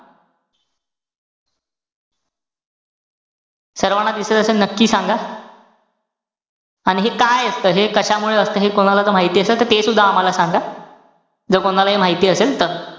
सर्वांना दिसत असेल नक्की सांगा. आणि हे काय असतं? हे कशामुळे असतं? हे कोणाला जर माहिती असेल, ते सुद्धा आम्हाला सांगा. जर कोणालाही माहिती असेल तर.